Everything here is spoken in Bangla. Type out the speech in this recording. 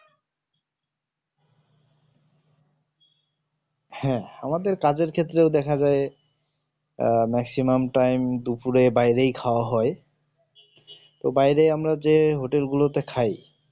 হ্যাঁ আমাদের কাজের ক্ষেত্রেও দেখা যায় আহ maximum time দুপুরে বাইরেই খাওয়া হয় বাইরে যে আমরা hotel গুলো তে খাই